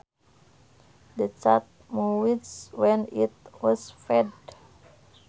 The cat meowed when it was fed